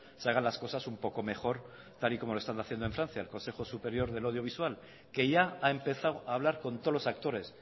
se hagan las cosas un poco mejor tal y como lo están haciendo en francia el consejo superior del audiovisual que ya ha empezado a hablar con todos los actores